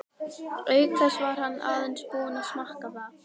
Auk þess var hann aðeins búinn að smakka það.